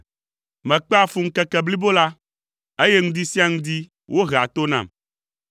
Mekpea fu ŋkeke blibo la, eye ŋdi sia ŋdi wohea to nam.